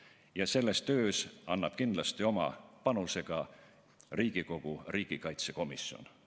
Ja selles töös annab kindlasti oma panuse ka Riigikogu riigikaitsekomisjon.